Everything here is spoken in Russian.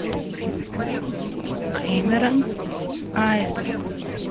кэмерон айсберг